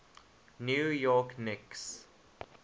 new york knicks